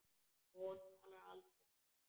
Hún talar aldrei um barnið.